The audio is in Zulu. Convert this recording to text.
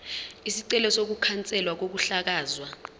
isicelo sokukhanselwa kokuhlakazwa